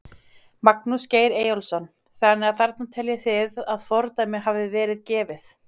Magnús Geir Eyjólfsson: Þannig að þarna teljið þið að fordæmi hafi verið gefið?